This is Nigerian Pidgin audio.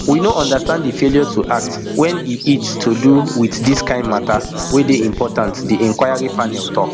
we no understand di failure to act wen e et to do wit dis kain matter wey dey important diinquiry panel tok